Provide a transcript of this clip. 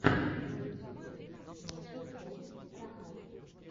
на ютюбе маджик оф рахат